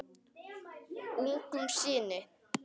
Ungum syni